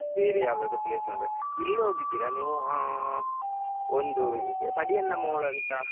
ಬೇರೆ ಯಾವುದಾದ್ರೂ place ನೋಡುವಾ ಇಲ್ಲಿ ಹೋಗಿದ್ದೀರಾ ಒಂದ್ ಹಾ tadiyandamol ಅಂತ.